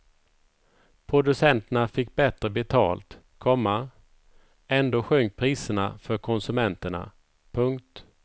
Producenterna fick bättre betalt, komma ändå sjönk priserna för konsumenterna. punkt